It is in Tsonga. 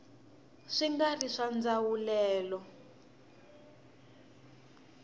swi nga ri swa ndzawulelo